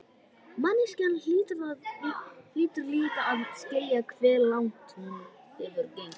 Manneskjan hlýtur líka að skilja hve langt hún hefur gengið.